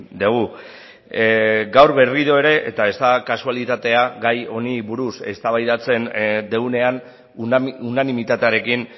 dugu gaur berriro ere eta ez da kasualitatea gai honi buruz eztabaidatzen dugunean unanimitatearekin